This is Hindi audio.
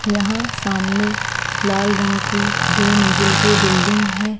यहाँ सामने लाल रंग की दो मंजिल की बिल्डिंग है।